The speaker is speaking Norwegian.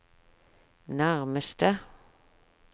nærmeste